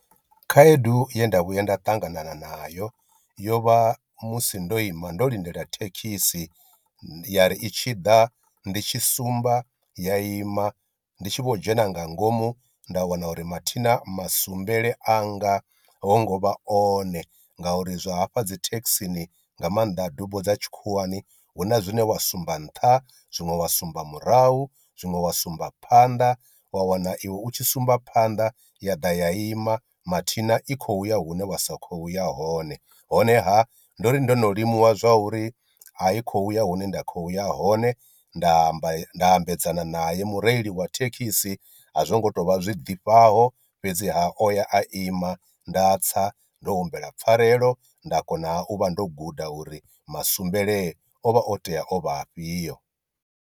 Khaedu ye nda vhuya nda ṱangana nayo yo vha musi ndo ima ndo lindela thekhisi ya ri i tshi ḓa ndi tshi sumba ya ima ndi tshi vho dzhena nga ngomu nda wana uri mathina musumbele anga ho ngo vha one ngauri zwa hafha dzithekhisini nga maanḓa dubo dza tshikhuwani huna zwine wa sumba nṱha, zwiṅwe wa sumba murahu, zwiṅwe wa sumba phanḓa, wa wana iwe u tshi sumba phanḓa ya ḓa ya ima mathina i khou uya hune wa sa khoya hone, honeha ndori ndo no limuwa zwa uri i khou ya hune nda khoya hone nda amba nda ambedzana naye mureili wa thekhisi a zwo ngo tou vha zwi ḓifhaho fhedzi ha o ya a ima nda tsa ndo humbela pfarelo nda kona u vha ndo guda uri musumbele o vha o tea o vha afhio.